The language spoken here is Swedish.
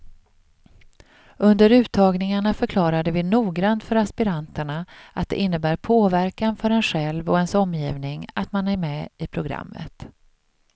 Under uttagningarna förklarade vi noggrant för aspiranterna att det innebär påverkan för en själv och ens omgivning att man är med i programmet.